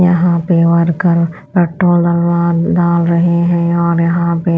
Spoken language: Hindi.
यहां पे वर्कर पेट्रोल डाल रहे हैं और यहां पे--